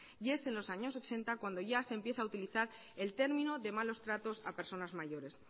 y es en los años ochenta cuando ya se empieza a utilizar el término de malos tratos a personas mayores